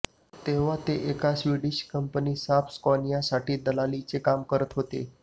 तेव्हा ते एका स्वीडिश कंपनी साब स्कॉनियासाठी दलालीचे काम करत होते